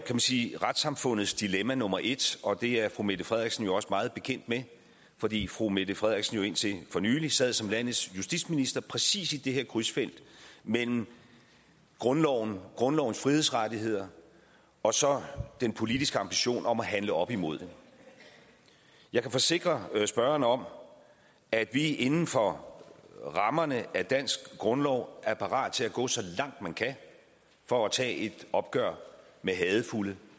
man sige retssamfundets dilemma nummer et og det er fru mette frederiksen jo også meget bekendt med fordi fru mette frederiksen indtil for nylig sad som landets justitsminister præcis i det her krydsfelt mellem grundlovens grundlovens frihedsrettigheder og så den politiske ambition om at handle op imod det jeg kan forsikre spørgeren om at vi inden for rammerne af den danske grundlov er parate til at gå så langt man kan for at tage et opgør med hadefulde